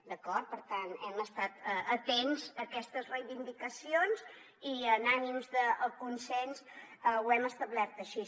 d’acord per tant hem estat atents a aquestes reivindicacions i amb ànims de consens ho hem establert així